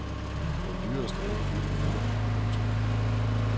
Den dyreste er ikke bygget endnu. punktum